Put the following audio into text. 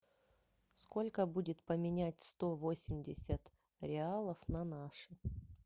сколько будет поменять сто восемьдесят реалов на наши